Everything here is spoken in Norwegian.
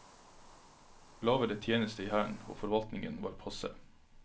Lavere tjeneste i hæren og forvaltningen var passe.